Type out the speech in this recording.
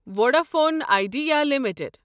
Vodafone Idea limited